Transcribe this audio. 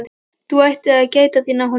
Þú ættir að gæta þín á honum